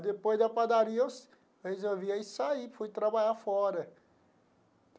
Depois da padaria eu resolvi aí saí, fui trabalhar fora.